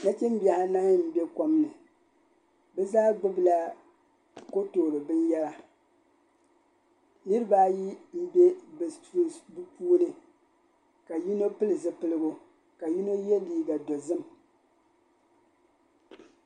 Nachimbihi anahi m-be kom ni bɛ zaa gbubila kotoori binyɛra niriba ayi m-be bɛ sunsuu bɛ puuni ka yino pili zipiligu ka yino ye liiga dozim.